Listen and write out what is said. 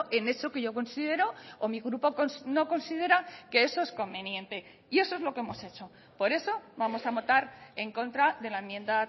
en eso que yo considero o mi grupo no considera que eso es conveniente y eso es lo que hemos hecho por eso vamos a votar en contra de la enmienda